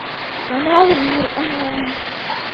канал мир онлайн